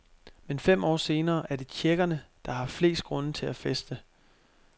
Men fem år senere er det tjekkerne, der har flest grunde til at feste.